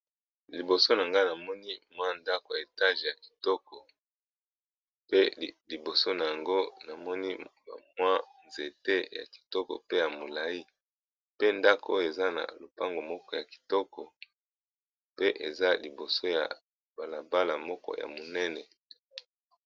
Liboso na nga namoni mwa ndako ya etage ya kitoko pe liboso na yango namoni ba mwa nzete ya kitoko pe ya molai pe ndako oyo eza na lopango moko ya kitoko pe eza liboso ya balabala moko ya monene.